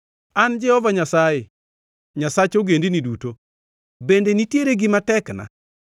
“An Jehova Nyasaye, Nyasach ogendini duto. Bende nitiere gima tekna?